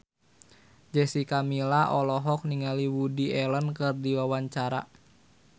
Jessica Milla olohok ningali Woody Allen keur diwawancara